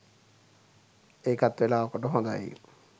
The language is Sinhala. ඒකත් වෙලාවකට හොඳයි